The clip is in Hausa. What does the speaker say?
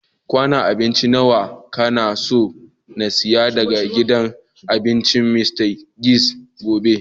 Kwanun abinci nawa ka na so n'siya daga gidan abincin Mr. Biggs gobe?